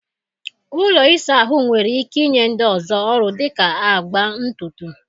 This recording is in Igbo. Ụlọ ịsa ahụ nwere ike inye ndị ọzọ ọrụ dị ka agba ntutu..